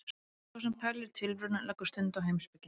Sá sem pælir í tilverunni leggur stund á heimspeki.